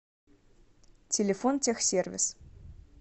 телефон техсервис